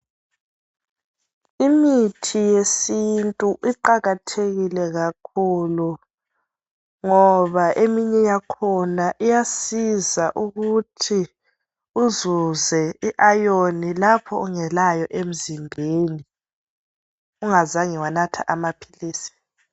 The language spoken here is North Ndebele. Imithi yesintu iqakathekile kakhlu ngoba eminye yakhona iyasiza ukuthi uzuze iayoni lapho ungelayo emzimbeni ungazange wanatha amaphilisi.